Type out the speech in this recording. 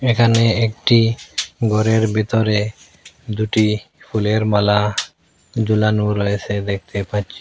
এখানে একটি গরের বেতরে দুটি ফুলের মালা জোলানো রয়েসে দেখতে পাচ্চি ।